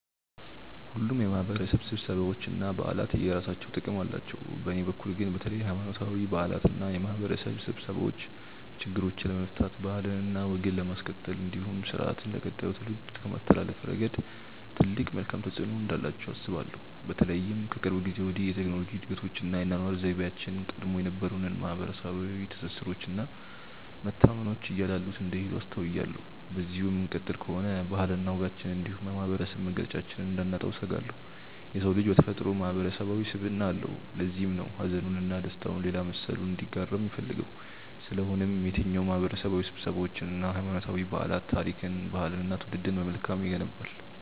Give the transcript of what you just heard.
ሁሉም የማህበረሰብ ስብሰባዎች እና በዓላት የየራሳቸው ጥቅም አላቸው። በእኔ በኩል ግን በተለይ ሀይማኖታዊ በዓላት እና የማህበረሰብ ስብሰባዎች ችግሮችን ለመፍታት ባህልና ወግን ለማስቀጠል እንዲሁም ስርአትን ለቀጣዩ ትውልድ ከማስተላለፍ ረገድ ትልቅ መልካም ተፆዕኖ እንዳላቸው አስባለሁ። በተለይም ከቅርብ ጊዜ ወዲህ የቴክኖሎጂ እድገቶች እና የአኗኗር ዘይቤያችን ቀድሞ የነበሩንን ማህበረሰባዊ ትስስሮች እና መተማመኖች እያላሉት እንደሄዱ አስተውያለሁ። በዚሁ የምንቀጥል ከሆነ ባህልና ወጋችንን እንዲሁም የማህበረሰብ መገለጫችንን እንዳናጣው እሰጋለሁ። የሰው ልጅ በተፈጥሮው ማህበረሰባዊ ስብዕና አለው። ለዚህም ነው ሀዘኑን እና ደስታውን ሌላ መሰሉ እንዲጋራው የሚፈልገው። ስለሆነም የትኛውም ማህበረሰባዊ ስብሰባዎች እና ሀይማኖታዊ በዓላት ታሪክን፣ ባህልንን እና ትውልድን በመልካም ይገነባል።